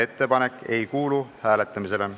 Ettepanek ei kuulu hääletamisele.